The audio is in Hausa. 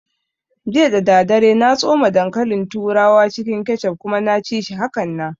Jiya dadadare na tsoma dankalin turawa cikin kechup kuma na ci shi hakanan